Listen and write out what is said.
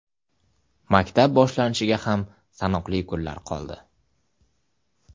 Maktab boshlanishiga ham sanoqli kunlar qoldi.